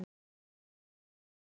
Hún kenndi mér svo margt.